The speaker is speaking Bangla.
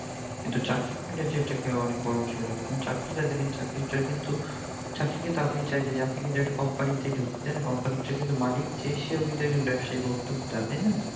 কিন্তু চাকরি করলে যেটাকে অনেক বড় হিসেবে দ্যাখা হয়, কিন্তু চাকরিটা দেখেন চাকরিটা কিন্তু চাকরি কিন্তু আপনি চাইলে যা আপনি কিন্তু একটা company তে ধুকতে চান, company এর যে কিন্তু মালিক যে সেও কিন্তু একজন ব্যাবসায়ি বা উদ্দ্যগতা